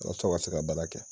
Walasa u ka se ka baara kɛ.